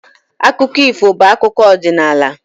Akụkọ ifo bụ akụkọ ọdịnala.